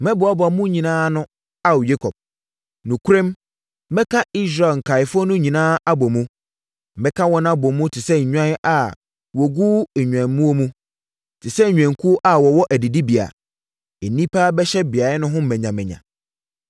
“Mɛboaboa mo nyinaa ano Ao, Yakob; nokorɛm mɛka Israel nkaeɛfoɔ no nyinaa abɔ mu. Mɛka wɔn abɔ mu te sɛ nnwan a wɔgu nnwammuo mu, te sɛ nnwankuo a wɔwɔ adidibea; nnipa bɛhyɛ beaeɛ ho manyamanya.